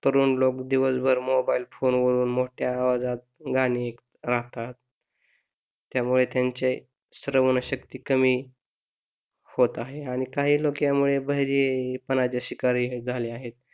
तरुण लोक दिवसभर मोबाइल फोन वर मोठ्या आवाजात गाणी ऐकतात त्यामुळे त्यांची श्रवणशक्ती कमी होत आहे आणि काही लोकांमध्ये बहिरेपण चे शिकारी झाले आहेत.